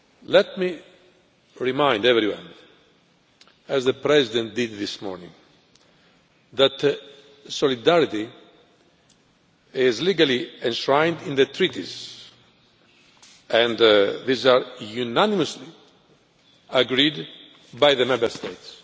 Let me remind everyone, as the President did this morning, that solidarity is legally enshrined in the Treaties and these are unanimously agreed by the Member States.